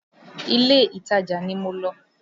Ilé-ìtajà ni mo lọ